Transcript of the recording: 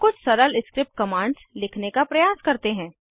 अब कुछ सरल स्क्रिप्ट कमांड्स लिखने का प्रयास करते हैं